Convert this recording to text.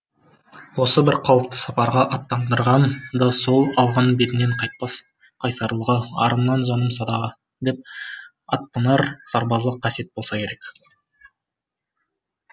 осы бір қауіпті сапарға аттандырған да сол алған бетінен қайтпас қайсарлығы арымнан жаным садаға деп аттанар сарбаздық қасиет болса керек